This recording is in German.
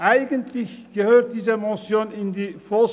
Eigentlich gehört diese Motion in die VOL.